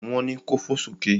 Wọn ni ko fò sókè!